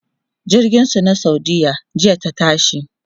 jirgin su na saudiya jiya ta tashi